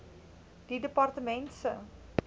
die departement se